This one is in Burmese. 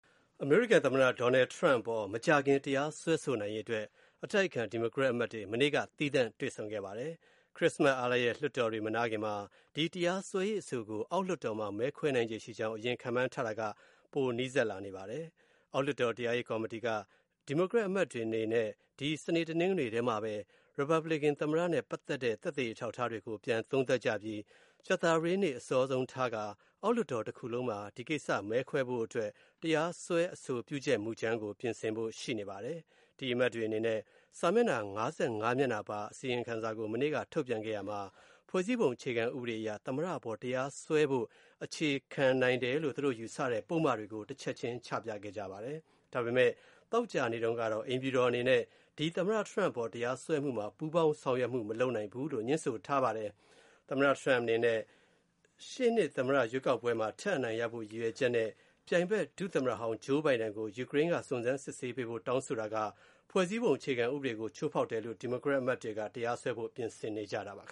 အမေရိကန်သမ္မတ Donald Trump အပေါ် မကြာခင် တရားစွဲဆိုနိုင်ရေးအတွက် အတိုက်အခံ ဒီမိုကရက်အမတ်တွေ စနေနေ့က သီးသန့်တွေ့ဆုံ ဆွေးနွေးပါတယ်။ ဒါကြောင့် သမ္မတကို တရားစွဲဆိုရေး မဲခွဲဆုံးဖြတ်တာကို ခရစ္စမတ် အားလပ်ရက် လွှတ်တော်တွေ မနားခင်မှာ မဲခွဲဆုံးဖြတ်မယ့် အလားအလာ ပိုနီးလာပါတယ်။ အောက်လွှတ်တော် တရားရေးကော်မတီက ဒီမိုကရက်အမတ်တွေအနေနဲ့ ဒီ စနေ တနင်္ဂနွေမှာပဲ ရီပတ်ဘလစ်ကန်သမ္မတနဲ့ ပတ်သက်တဲ့ သက်သေ အထောက်အထားတွေကို ပြန်သုံးသပ်ပြီး ကြာသပတေးနေ့ အစောဆုံးထားပြီးတော့ အောက်လွှတ်တော်တခုလုံးမှာ မဲခွဲဖို့အတွက် တရားစွဲ အဆိုပြုချက်မူကြမ်း ပြင်ဆင်ဖို့ ရှိပါတယ်။ အမတ်တွေအနေနဲ့ စာမျက်နှာ ၅၅ မျက်နှာပါ အစီရင်ခံစာကို မနေ့က ထုတ်ပြန်ခဲ့ရာမှာ ဖွဲ့စည်းပုံအခြေခံဥပဒေအရ သမ္မတအပေါ် တရားစွဲဖို့ အခြေခံနိုင်တယ်လို့ သူတို့ယူဆတဲ့ ပုဒ်မတွေကို တချက်ချင်း ချပြခဲ့ပါတယ်။ ဒါပေမယ့် သောကြာနေ့တုန်းကတော့ အိမ်ဖြူတော်အနေနဲ့ သမ္မတ Trump အပေါ် တရားစွဲမှုမှာ ပူးပေါင်းဆောင်ရွက်မှု မလုပ်နိုင်ဘူးလို့ ငြင်းဆိုထားပါတယ်။ သမ္မတ Trump အနေနဲ့ ရှေ့နှစ် သမ္မတရွေးကောက်ပွဲမှာ ထပ်အနိုင်ရဖို့ ရည်ရွယ်ချက်နဲ့ ပြိုင်ဘက် ဒုသမ္မတဟောင်း Joe Biden ကို ယူကရိန်းက စုံစမ်းစစ်ဆေးဖို့ တောင်းဆိုတာဟာ ဖွဲ့စည်းပုံအခြေခံဥပဒေကို ချိုးဖောက်တယ်ဆိုပြီး ဒီမိုကရက်တွေက တရားစွဲဖို့ ပြင်နေကြတာပါ။